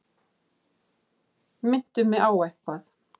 Minntu mig á eitthvað.